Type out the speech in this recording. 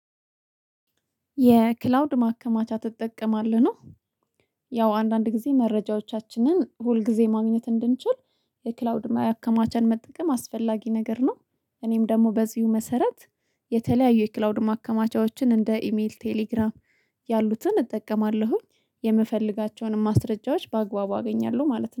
የክላውድ ማከማቻ ትጠቀማለህ? ነው ያው አንዳንድ ጊዜ መረጃዎቻችንን ሁል ጊዜ ማግኘት እንድንችል፤ የክላውድ ማከማቻን መጠቀም አስፈላጊ ነገር ነው። እኔም ደግሞ በዚሁ መሰረት የተለያዩ የክላውድ ማከማቻዎችን እንደ ኢሜል ቴሌግራም ያሉትን እጠቀማለሁኝ፤ የምፈልጋቸውንም ማስረጃዎች በአግባቡ አገኛለሁ ማለት ነው።